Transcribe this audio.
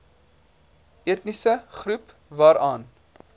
etniese groep waaraan